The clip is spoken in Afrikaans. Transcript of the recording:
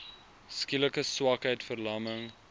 skielike swakheid verlamming